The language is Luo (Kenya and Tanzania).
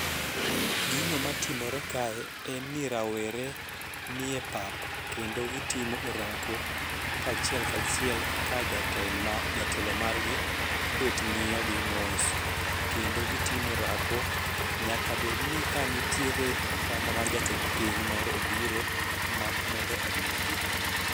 Gino matimore kae en ni rawere nie pap kendo gitimo orako kachiel kachiel ka jatelo margi obet ng'iyogi mos kendo gitimo orako nyaka bedni ka nitiere kata mana jatend piny moro obiro mondo onegi.